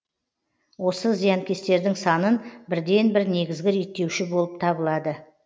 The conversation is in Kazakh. осы зиянкестердің санын бірден бір негізгі реттеуші болып табылады